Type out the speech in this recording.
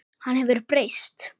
Hann hefur breyst.